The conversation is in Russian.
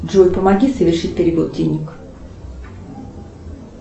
джой помоги совершить перевод денег